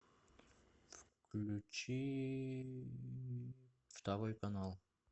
включи второй канал